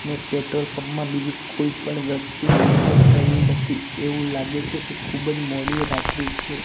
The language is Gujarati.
અને પેટ્રોલ પંપ માં બીજું કોઈ પણ વ્યક્તિ દેખાય રહ્યું નથી એવું લાગે છે કે ખૂબ જ મોડી રાત્રી છે.